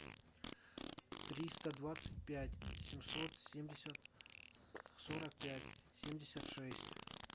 триста двадцать пять семьсот семьдесят сорок пять семьдесят шесть